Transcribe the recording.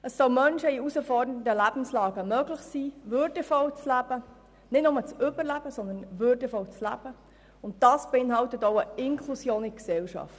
Es soll Menschen in herausfordernden Lebenslagen möglich sein, würdevoll zu leben, nicht nur zu überleben, sondern wirklich würdevoll zu leben, und dies bedeutet Inklusion in die Gesellschaft.